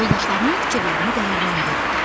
Yoldaşlarının fikirlərini dəyərləndir.